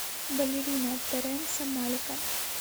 балерина терренса малика